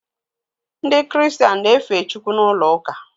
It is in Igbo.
Ndị kiristian na-efe Chukwu n’ulouka